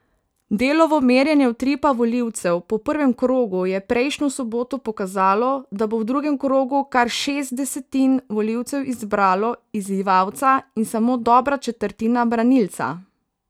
Delovo merjenje utripa volivcev po prvem krogu je prejšnjo soboto pokazalo, da bo v drugem krogu kar šest desetin volivcev izbralo izzivalca in samo dobra četrtina branilca.